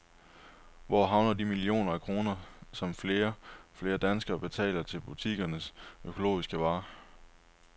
Hvor havner de millioner af kroner, som flere og flere danskere betaler ekstra for butikkernes økologiske varer?